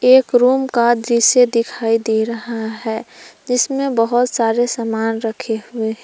एक रूम का दृश्य दिखाई दे रहा है जिसमें बहुत सारे सामान रखे हुए हैं।